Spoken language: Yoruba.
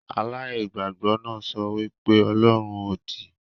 Aláìgbàgbọ náà sọ wí pé ọlọ́run òdì